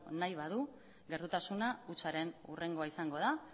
nahi badu gertutasuna hutsaren hurrengoa izango da